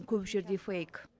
көп жерде фейк